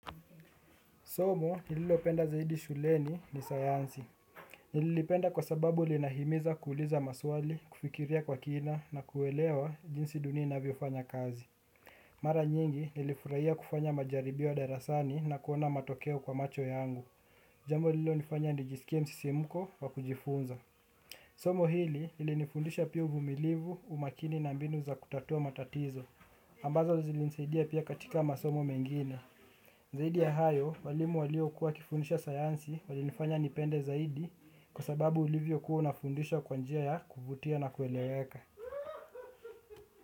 Somo nililopenda zaidi shuleni ni sayansi. Nililipenda kwa sababu linahimiza kuuliza maswali, kufikiria kwa kina na kuelewa jinsi dunia inavyofanya kazi. Mara nyingi nilifurahia kufanya majaribio ya darasani na kuona matokeo kwa macho yangu. Jambo lililonifanya nijisikie msisimko wa kujifunza. Somo hili lilinifundisha pia uvumilivu umakini na mbinu za kutatua matatizo. Ambazo zilinisaidia pia katika masomo mengine. Zaidi ya hayo walimu waliokua wakifundisha sayansi walinifanya nipende zaidi kwa sababu ulivyokuwa unafundishwa kwa njia ya kuvutia na kueleweka.